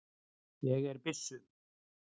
Ég er byssu